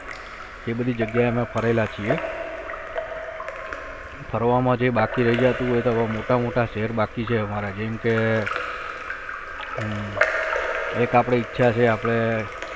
એ બધી જગીયા એ અમે ફરેલા છીએ ફરવા માં જે બાકી રઈ જતું હોય તો અવે મોટા મોટા શહેર બાકી છે અમારા જેમ કે હમ એક આપડી ઈચ્છા છે આપડે